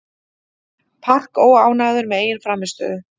Park óánægður með eigin frammistöðu